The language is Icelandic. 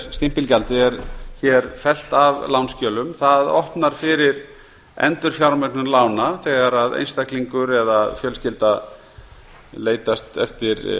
stimpilgjaldið er fellt að lánsskjölum það opnar fyrir endurfjármögnun lána þegar einstaklingur eða fjölskylda leitar eftir